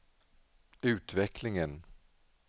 utvecklingen